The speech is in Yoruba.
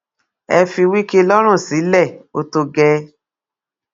ẹ fi wike lọrùn sílẹ ó tó gẹẹ